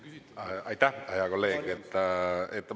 Aitäh, hea kolleeg!